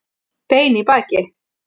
Bein í baki